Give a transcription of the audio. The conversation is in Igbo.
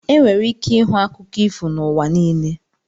Enwere ike ịhụ akụkọ ifo n'ụwa niile.